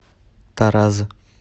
тараз